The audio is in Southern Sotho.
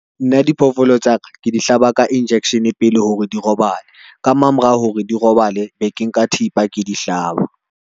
Nna diphoofolo tsa ka, ke di hlaba ka injection pele hore di robale ka mamorao, hore di robale be ke nka thipa ke di hlaba.